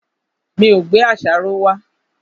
Mi ò gbé àṣàrò wá.